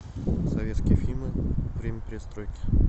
советские фильмы время перестройки